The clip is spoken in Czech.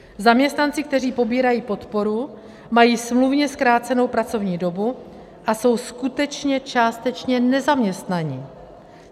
Zaměstnanci, kteří pobírají podporu, mají smluvně zkrácenou pracovní dobu a jsou skutečně částečně nezaměstnaní.